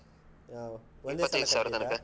ಹಾ ಒಂದೇ .